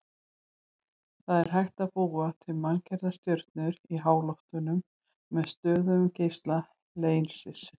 Það er hægt að búa til manngerða stjörnu í háloftunum með stöðugum geisla leysis.